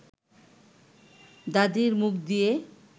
দাদির মুখ দিয়ে